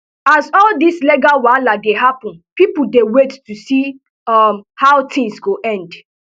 as all dis legal wahala dey happun pipo dey wait to see um how tins go end